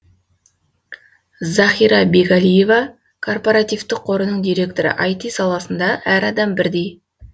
захира бегалиева корпоративтік қорының директоры айти саласында әр адам бірдей